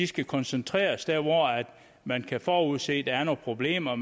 skal koncentreres der hvor man kan forudse at der er nogle problemer